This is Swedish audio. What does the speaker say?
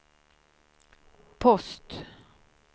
post